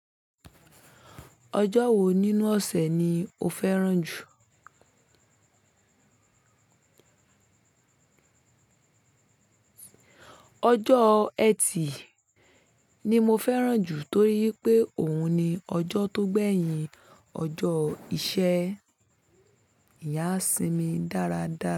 Ọjọ́ wo nínú ọ̀sẹ̀ ni o fẹ́ràn jù? Ọjọ́ Ẹtì ni mo fẹ́ràn jù torí wipé òun ni ọjọ́ tó gbẹ́yìn ọjọ́ ìṣẹ́. Ìyán a sinmi dáradára.